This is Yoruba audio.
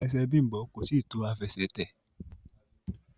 ẹsẹ Bimbo koi tí to Àfẹsẹ̀tẹ̀